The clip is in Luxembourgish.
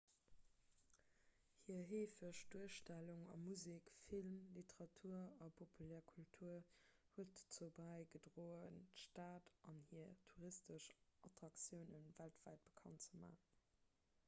hir heefeg duerstellung a musek film literatur a populär kultur huet dozou bäigedroen d'stad an hir touristesch attraktioune weltwäit bekannt ze maachen